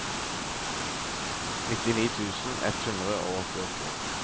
nittini tusen ett hundre og åttiåtte